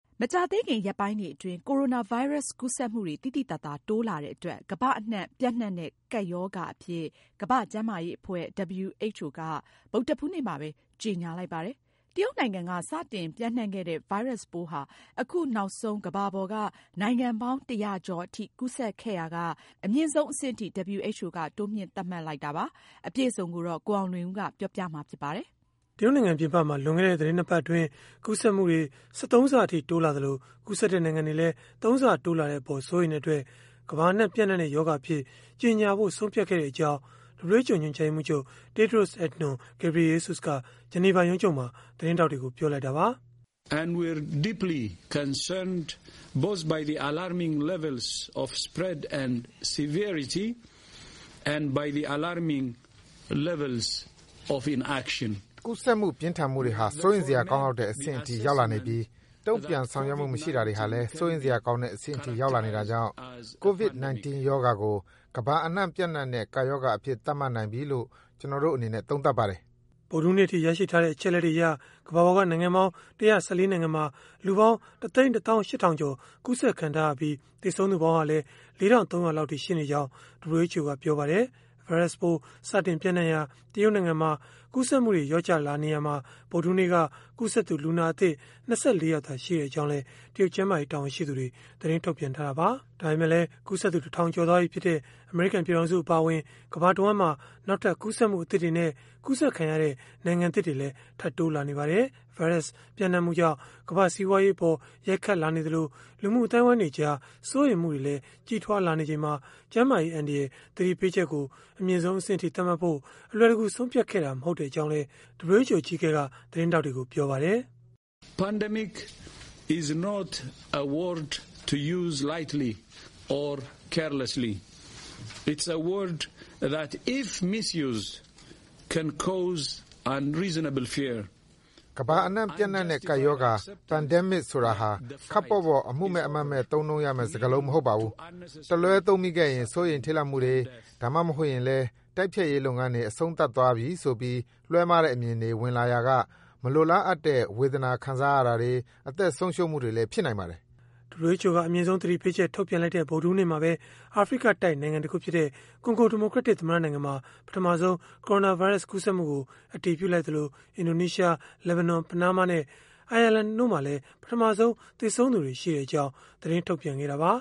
မကြာသေးခင် ရက်ပိုင်းတွေအတွင်း ကိုရိုနာဗိုင်းရပ်စ် ကူးစက်မှုတွေ သိသိသာသာ တိုးလာတဲ့အတွက် ကမ္ဘာအနှံ့ ပျံ့နှံ့တဲ့ ကပ်ရောဂါအဖြစ် ကမ္ဘာ့ကျန်းမာရေးအဖွဲ့ (WHO) က ဗုဒ္ဓဟူးနေ့မှာပဲ ကြေညာလိုက်ပါတယ်။ တရုတ်နိုင်ငံက စတင်ပျံ့နှံ့ခဲ့တဲ့ ဗိုင်းရပ်စ်ပိုးဟာ အခုနောက်ဆုံး ကမ္ဘာပေါ်က နိုင်ငံပေါင်း ၁၀၀ ကျော်အထိ ကူးစက်ခဲ့ရာက အမြင့်ဆုံးအဆင့်အထိ WHO က တိုးမြှင့် သတ်မှတ်လိုက်တာပါ။ အပြည့်အစုံကိုတော့ ကိုအောင်လွင်ဦးက ပြောပြပေးမှာ ဖြစ်ပါတယ်။ တရုတ်နိုင်ငံ ပြင်ပမှာ လွန်ခဲ့တဲ့ သီတင်း ၂ ပတ်အတွင်း ကူးစက်မှုတွေ ၁၃ ဆအထိ တိုးလာသလို၊ ကူးစက်တဲ့ နိုင်ငံတွေလည်း ၃ ဆ တိုးလာတဲ့အပေါ် စိုးရိမ်တဲ့အတွက် ကမ္ဘာအနှံ့ ပျံ့နှံ့တဲ့ ရောဂါအဖြစ် ကြေညာဖို့ ဆုံးဖြတ်ခဲ့တဲ့အကြောင်း WHO ညွှန်ကြားရေးမှူးချုပ် Tedros Adhanom Ghebreyesus က Geneva ရုံးချုပ်မှာ သတင်းထောက်တွေကို ပြောလိုက်တာပါ။ “ကူးစက်မှုနဲ့ ပြင်းထန်မှုတွေဟာ စိုးရိမ်စရာကောင်းလောက်တဲ့ အဆင့်အထိ ရောက်လာနေပြီး၊ တုံ့ပြန်ဆောင်ရွက်မှု မရှိတာတွေဟာလည်း စိုးရိမ်စရာကောင်းတဲ့ အဆင့်အထိ ရောက်လာနေတာကြောင့်၊ COVID-19 ရောဂါကို ကမ္ဘာအနှံ့ ပျံ့နှံ့တဲ့ ကပ်ရောဂါအဖြစ် သတ်မှတ်နိုင်ပြီလို့ ကျနော်တို့ အနေနဲ့ သုံးသပ်ပါတယ်။” ဗုဒ္ဓဟူးနေ့အထိ ရရှိထားတဲ့ အချက်အလက်တွေအရ ကမ္ဘာပေါ်က နိုင်ငံပေါင်း ၁၁၄ နိုင်ငံမှာ လူပေါင်း ၁၁၈,၀၀၀ ကျော် ကူးစက်ခံထားရပြီး၊ သေဆုံးသူပေါင်းဟာလည်း ၄,၃၀၀ လောက်အထိ ရှိနေကြောင်းလည်း WHO ကပြောပါတယ်။ ဗိုင်းရပ်စ်ပိုး စတင်ပျံ့နှံ့ရာ တရုတ်နိုင်ငံမှာ ကူးစက်မှုတွေ လျော့ကျလာနေရာမှာ ဗုဒ္ဓဟူးနေ့က ကူးစက်သူ လူနာအသစ် ၂၄ ယောက်သာရှိကြောင်းလည်း တရုတ်ကျန်းမာရေး တာဝန်ရှိသူတွေက သတင်းထုတ်ပြန်ထားတာပါ။ ဒါပေမဲ့လည်း ကူးစက်သူ ၁,၀၀၀ ကျော်သွားပြီဖြစ်တဲ့ အမေရိကန် ပြည်ထောင်စု အပါအဝင် ကမ္ဘာတဝှမ်းမှာ နောက်ထပ် ကူးစက်မှု အသစ်တွေနဲ့ ကူးစက်ခံရတဲ့ နိုင်ငံသစ်တွေလည်း ထပ်တိုးလာနေပါတယ်။ ဗိုင်းရပ်စ် ပျံ့နံှ့မှုကြောင့် ကမ္ဘာ့စီးပွားရေးအပေါ် ရိုက်ခတ်လာနေသလို၊ လူမှုအသိုင်းအဝိုင်းတွေကြား စိုးရိမ်မှုတွေလည်း ကြီးထွားလာနေချိန်မှာ ကျန်းမာရေးအန္တရာယ် သတိပေးချက်ကို အမြင့်ဆုံး အဆင့်အထိ သတ်မှတ်ဖို့ အလွယ်တကူ ဆုံးဖြတ်ခဲ့တာ မဟုတ်ကြောင်းလည်း WHO အကြီးအကဲက သတင်းထောက်တွေကို ပြောခဲ့တာပါ။ “ကမ္ဘာအနှံ့ ပျံ့နှံ့တဲ့ ကပ်ရောဂါ (Pandemic) ဆိုတာဟာ ခပ်ပေါ့ပေါ့ အမှုမဲ့အမှတ်မဲ့ သုံးနှုန်းရမယ့် စကားလုံးမဟုတ်ပါဘူး။ တလွဲသုံးမိခဲ့ရင် စိုးရိမ်ထိတ်လန့်မှုတွေ၊ ဒါမှမဟုတ်ရင်လည်း တိုက်ဖျက်ရေး လုပ်ငန်းတွေ အဆုံးသတ်သွားပြီဆိုပြီး လွဲမှားတဲ့ အမြင်တွေ ဝင်လာရာက မလိုလားအပ်တဲ့ ဝေဒနာခံစားရတာတွေ၊ အသက်ဆုံးရှုံးမှုတွေလည်း ဖြစ်နိုင်ပါတယ်။” WHO က အမြင့်ဆုံး သတိပေးချက် ထုတ်ပြန်လိုက်တဲ့ ဗုဒ္ဓဟူးနေ့မှာပဲ အာဖရိကတိုက်နိုင်ငံတခုဖြစ်တဲ့ ကွန်ဂိုဒီမိုကရက်တစ် သမ္မတ နိုင်ငံမှာ ပထမဆုံး ကိုရိုနာဗိုင်းရပ်စ် ကူးစက်မှုကို အတည်ပြုလိုက်သလို၊ အင်ဒိုနီးရှား၊ လက်ဘနွမ်၊ ပနားမားနဲ့ အိုင်ယာလန်တို့မှာလည်း ပထမဆုံး သေဆုံးသူတွေ ရှိခဲ့ကြောင်း သတင်းထုတ်ပြန်ထားတာပါ